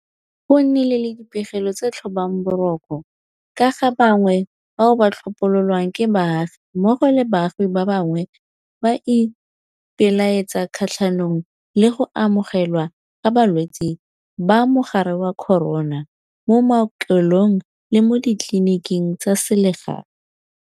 Go nnile le dipegelo tse di tlhobang boroko ka ga bangwe bao ba tlhopololwang ke baagi mmogo le baagi ba bangwe ba ipelaetsa kgatlhanong le go amogelwa ga balwetse ba mogare wa corona mo maokelong le mo ditleliniking tsa selegae.